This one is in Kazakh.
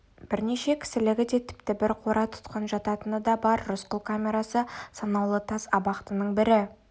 бірнеше кісілігі де тіпті бір қора тұтқын жататыны да бар рысқұл камерасы санаулы тас абақтының бірі